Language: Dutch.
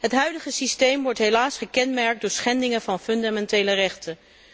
Het huidige systeem wordt helaas gekenmerkt door schendingen van fundamentele rechten.